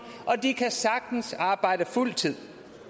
og de kan sagtens arbejde fuld tid